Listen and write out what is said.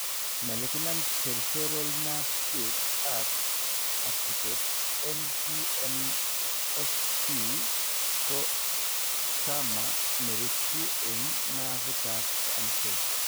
Malignant peripheral nerve sheath ab agutet MPNST ko tumor nerutuu eng' nervit ab amseet